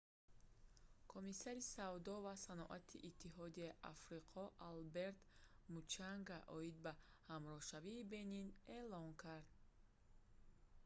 комиссари савдо ва саноати иттиҳодияи африқо алберт мучанга оид ба ҳамроҳшавии бенин эълон кард